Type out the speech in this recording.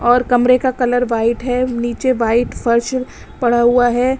और कमरे का कलर व्हाइट है नीचे वाइट फर्श पड़ा हुआ है।